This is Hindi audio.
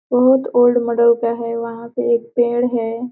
बहुत ओल्ड मोडल का है वहां पे एक पेंड़ है।